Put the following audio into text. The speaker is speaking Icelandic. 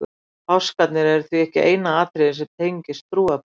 páskarnir eru því ekki eina atriðið sem tengir trúarbrögðin